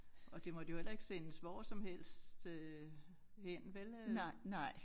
Og det måtte jo heller ikke sendes hvor som helst øh hen vel øh